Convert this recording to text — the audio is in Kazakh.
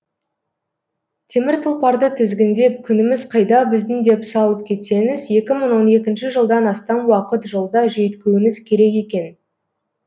темір тұлпарды тізгіндеп күніміз қайда біздің деп салып кетсеңіз екі мың он екінші жылдан астам уақыт жолда жүйткуіңіз керек екен